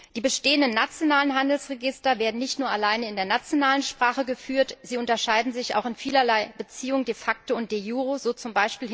Die bestehenden nationalen Handelsregister werden nicht nur alleine in der nationalen Sprache geführt, sie unterscheiden sich auch in vielerlei Beziehung de facto und de jure, so z.